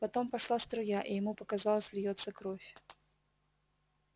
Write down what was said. потом пошла струя и ему показалось льётся кровь